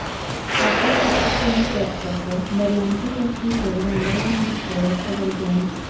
Ovqat toksikoinfeksiyasi” birlamchi tashxisi bilan davolanishga yotqizilgan.